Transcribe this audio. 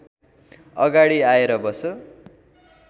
अगाडि आएर बस